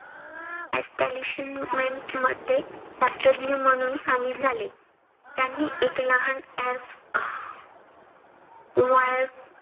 मध्ये शास्त्रज्ञ म्हणून सामील झाले. त्यांनी एक लहान